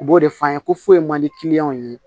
U b'o de f'an ye ko foyi man di kiliyɛnw ye